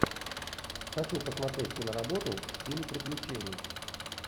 хочу посмотреть киноработу в стиле приключений